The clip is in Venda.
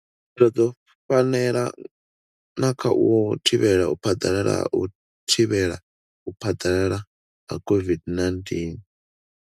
Khaelo dzo fanela na kha u thivhela u phaḓalala ha u thivhela u phaḓalala ha COVID-19?